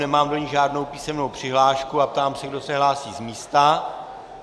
Nemám do ní žádnou písemnou přihlášku a ptám se, kdo se hlásí z místa.